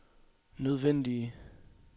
nødvendige